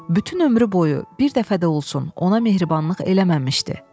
Bütün ömrü boyu bir dəfə də olsun ona mehribanlıq eləməmişdi.